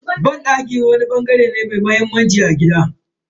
Banɗaki wani bangare ne mai muhimmanci a cikin gida.